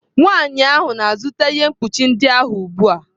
Nwanyị ahụ na-azụta ihe mkpuchi ndị ahụ ugbu a.